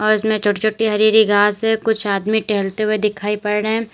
इसमें छोटी छोटी हरी हरी घास है कुछ आदमी टहलते हुए दिखाई पड़ रहे हैं।